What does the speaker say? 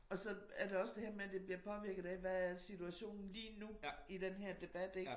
Og så er det også der her med det bliver påvirket af hvad er situationen lige nu i den her debat ik